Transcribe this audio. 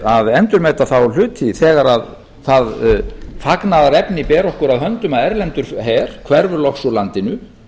að endurmeta þá hluti þegar það fagnaðarefni ber okkur að höndum að erlendur her hverfur loks úr landinu